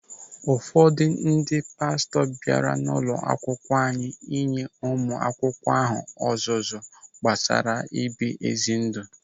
Ụfọdụ ndị pastọ bịara n'ụlọakwukwo anyị inye ụmụ akwụkwọ ahụ ọzụzụ gbasara ibi ezi ndụ.